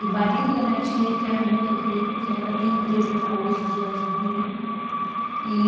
do marido da minha tia, que eram muito ricos, ainda tem empresa até hoje de lingerie e.